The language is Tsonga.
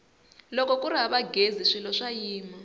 loko kuri hava ghezi swilo swa yima